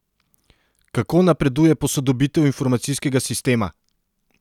Kako napreduje posodobitev informacijskega sistema?